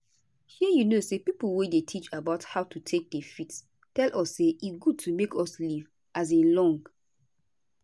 shey you know say pipo wey dey teach about how to take dey fit tell us say e good to make us live um long.